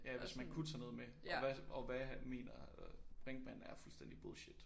Ja hvis man kunne tage noget med og hvad og hvad mener Brinkmann er fuldstændig bullshit